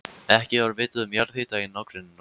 Ekki var vitað um jarðhita í nágrenninu áður.